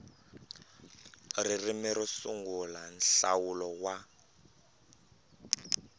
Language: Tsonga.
ririmi ro sungula nhlawulo wa